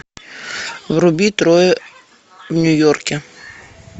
вруби трое в нью йорке